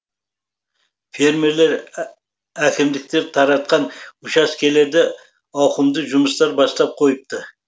фермерлер әкімдіктер таратқан учаскелерде ауқымды жұмыстар бастап қойыпты